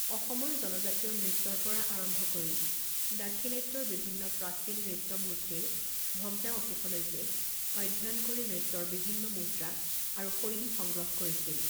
অসমৰ জনজাতীয় নৃত্যৰ পৰা আৰম্ভ কৰি দাক্ষিণাত্যৰ বিভিন্ন প্ৰাচীন নৃত্য মূৰ্তিৰ ভগ্নাৱশেষলৈকে অধ্যয়ন কৰি নৃত্যৰ বিভিন্ন মুদ্ৰা আৰু শৈলী সংগ্ৰহ কৰিছিল।